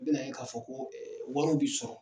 Be na ye ka fɔ ko ee wariw bi sɔrɔ.